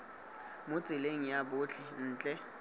mo tseleng ya botlhe ntle